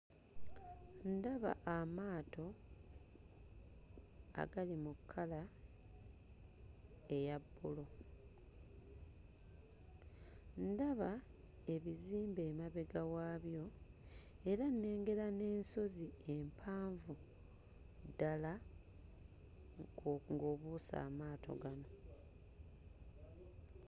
Ndaba amaato agali mu kkala eya bbulu. Ndaba ebizimbe emabega waabyo era nnengera n'ensozi empanvu ddala ngo ng'obuuse amaato gano.